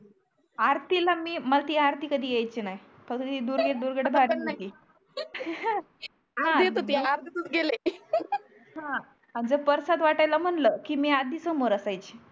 आरतीला मी मला ते आरती कधी याची नाही फक्त ते दुर्गे दुर्गेट भारी याची मला पण नाही हा अर्धी येत होती अर्धे दूर गेलय हा अन जर परसाध वाट्याला म्हणल की मी आधी सोमर असयाची